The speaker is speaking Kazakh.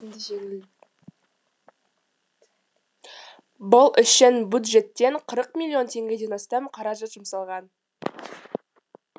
бұл үшін бюджеттен қырық миллион теңгеден астам қаражат жұмсалған